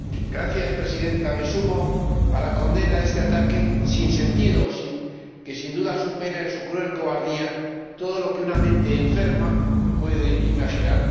Señora Presidenta, me sumo a la condena de este ataque sin sentido, que, sin duda, supera —en su cruel cobardía— todo lo que una mente enferma puede imaginar.